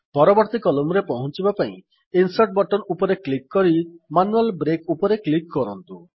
ପରବର୍ତ୍ତୀ କଲମ୍ସ ପର୍ଯ୍ୟନ୍ତ ପହଁଞ୍ଚିବା ପାଇଁ ଇନସର୍ଟ ବଟନ ଉପରେ କ୍ଲିକ୍ କରି ମ୍ୟାନୁଆଲ୍ ବ୍ରେକ୍ ଉପରେ କ୍ଲିକ୍ କରନ୍ତୁ